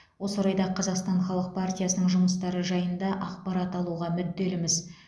осы орайда қазақстан халық партиясының жұмыстары жайында ақпарат алуға мүдделіміз